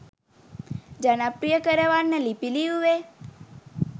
ජනප්‍රිය කරවන්න ලිපි ලිව්වේ?